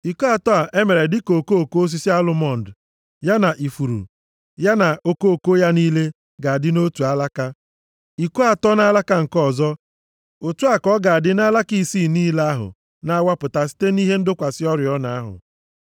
Iko atọ e mere dịka okoko osisi alụmọnd ya na ifuru, ya na okoko ya niile ga-adị nʼotu alaka, iko atọ nʼalaka nke ọzọ, otu a ka ọ ga-adị nʼalaka isii niile ahụ na-awapụta site nʼihe ịdọkwasị oriọna ahụ.